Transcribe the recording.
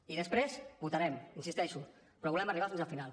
i després votarem hi insisteixo però volem arribar fins al final